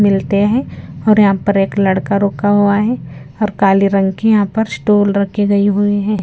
मिलते हैं और यहां पर एक लड़का रुका हुआ है और काली रंग की यहां पर स्टूल रखी गई हुई है।